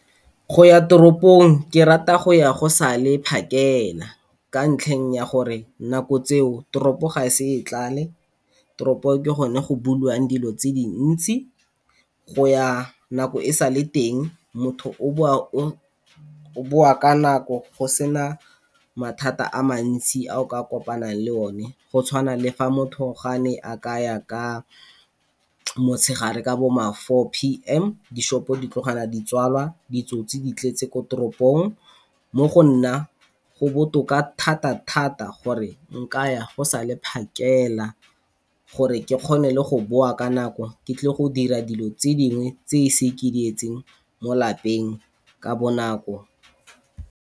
Go ya toropong ke rata go ya go sa le phakela ka ntlheng ya gore nako tseo toropo ga e se e tlale, toropo ke gone go bulwang dilo tse dintsi. Go ya nako e sa le teng motho o boa ka nako go sena mathata a mantsi a o ka kopanang le o ne, go tshwana le fa motho gane a kaya ka motshegare ka bo ma four P_M di-shop-o ditlogela di tswalwa, ditsotsi di tletse ko toropong. Mo go nna go botoka thata-thata gore nka ya go sa le phakela, gore ke kgone go boa ka nako ke tle go dira dilo tse dingwe tse e seng ke di etse mo lapeng ka bonako.